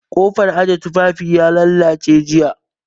Ƙofar ɗakin aje tufafi ya lallace jiya